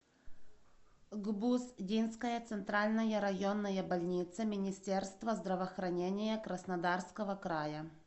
гбуз динская центральная районная больница министерства здравоохранения краснодарского края